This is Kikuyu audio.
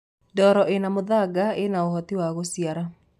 ndoro ina muthanga ina uhoti wa guciara